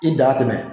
I da tɛmɛn